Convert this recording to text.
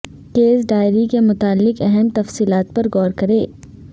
case diary کے متعلق اہم تفصیلات پر غور کریں